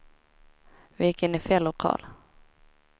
Vi gick in i fel lokal.